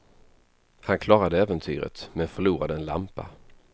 Han klarade äventyret, men förlorade en lampa.